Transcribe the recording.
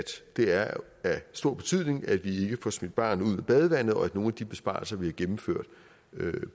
det er af stor betydning at vi får smidt barnet ud med badevandet og at nogle af de besparelser vi har gennemført